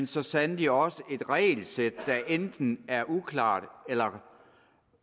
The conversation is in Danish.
så sandelig også et regelsæt der enten er uklart eller